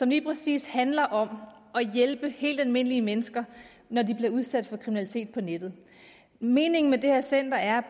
lige præcis handler om at hjælpe helt almindelige mennesker når de bliver udsat for kriminalitet på nettet meningen med det her center er